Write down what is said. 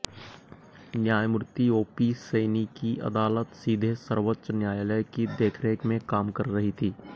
न्यायमूर्ति ओपी सैनी की अदालत सीधे सर्वोच्च न्यायालय की देखरेख में काम कर रही थी